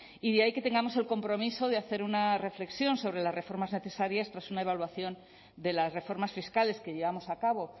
y de ahí que tengamos el compromiso de hacer una reflexión sobre las reformas necesarias tras una evaluación de las reformas fiscales que llevamos a cabo